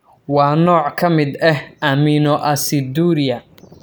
Waa nooc ka mid ah aminoaciduria.